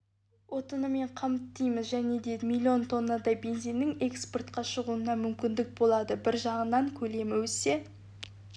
отынымен қамтимыз және де миллион тоннадай бензиннің экспортқа шығуына мүмкіндік болады бір жағынан көлемі өссе